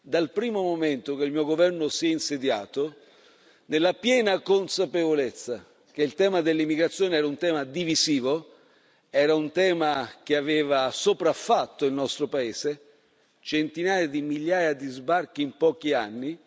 Dal primo momento che il mio governo si è insediato ha avuto la piena consapevolezza che il tema dell'immigrazione era un tema divisivo, era un tema che aveva sopraffatto il nostro paese, con centinaia di migliaia di sbarchi in pochi anni.